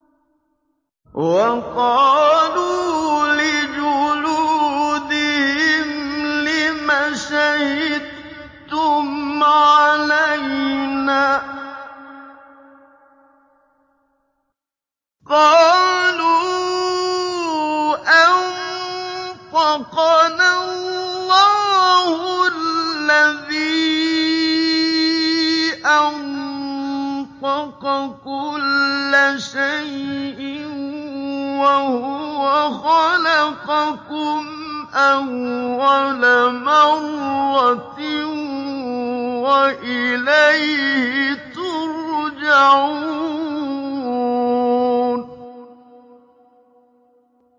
وَقَالُوا لِجُلُودِهِمْ لِمَ شَهِدتُّمْ عَلَيْنَا ۖ قَالُوا أَنطَقَنَا اللَّهُ الَّذِي أَنطَقَ كُلَّ شَيْءٍ وَهُوَ خَلَقَكُمْ أَوَّلَ مَرَّةٍ وَإِلَيْهِ تُرْجَعُونَ